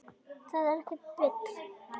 Það er ekkert bull.